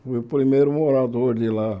Fui o primeiro morador de lá.